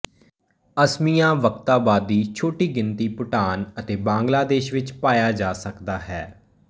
ਅਸਮਿਆਵਕਤਾਵਾਂਦੀ ਛੋਟੀ ਗਿਣਤੀ ਭੁਟਾਨ ਅਤੇ ਬਾਂਗਲਾਦੇਸ਼ ਵਿੱਚ ਪਾਇਆ ਜਾ ਸਕਦਾ ਹੈ